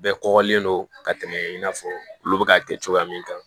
Bɛɛ kɔgɔlen don ka tɛmɛ in n'a fɔ olu bɛ ka kɛ cogoya min kan